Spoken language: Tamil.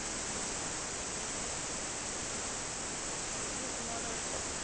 சரி, உன்னோட விருப்பம்.